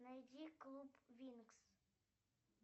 найди клуб винкс